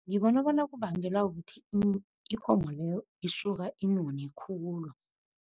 Ngibona bona kubangelwa kukuthi ikomo leyo isuka inone khulu.